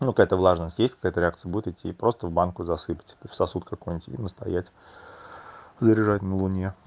ну какая то влажность есть какая-то реакция будет идти и просто в банку засыпьте в сосуд какой-нибудь и настоять заряжать на луне